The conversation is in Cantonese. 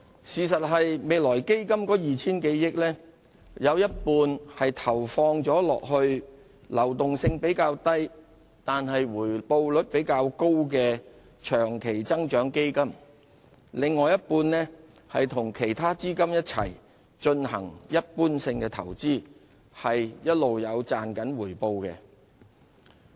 事實上，未來基金的 2,000 多億元當中，有一半投放在流動性較低但回報率較高的長期增長基金，另一半則與其他資金一起進行一般性投資，並一直有賺取回報。